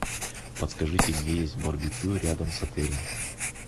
подскажите где есть барбекю рядом с отелем